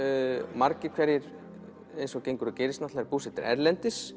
margir hverjir eins og gengur og gerist búsettir erlendis